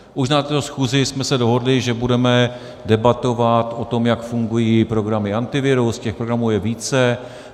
Už na této schůzi jsme se dohodli, že budeme debatovat o tom, jak fungují programy - Antivirus, těch programů je více.